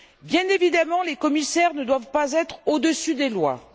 Bien évidemment, les commissaires ne doivent pas être au dessus des lois.